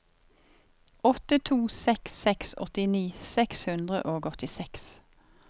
åtte to seks seks åttini seks hundre og åttiseks